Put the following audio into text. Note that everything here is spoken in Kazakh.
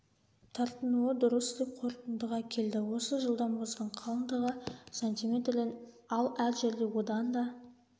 тартынуы дұрыс деп қорытындыға келді осы жылда мұздың қалындығы сантиметрден ал әр жерде одан да